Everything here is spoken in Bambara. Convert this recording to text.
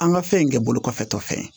An ka fɛn in kɛ bolo kɔfɛtɔ fɛn ye